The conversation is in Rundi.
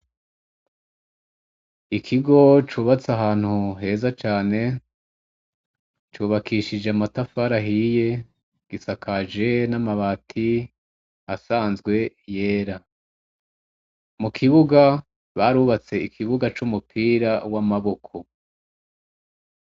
Ikigo cubatse ahantu heza cane, c'ubakishijwe amatafari ahiye, isakaje n'amabati asanzwe yera, mu kibuga, barubatse ikibuga c'umupira w'amaboko.